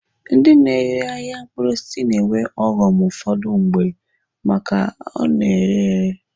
Ndi na-ere ahịa mkpụrụ osisi na-enwe ọghọm ụfọdụ mgbe maka na ọ na-ere ere.